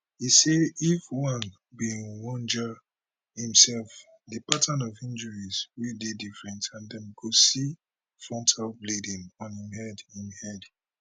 e say if ojwang bin wunjure imsef di pattern of injuries for dey different and dem go see frontal bleeding on im head im head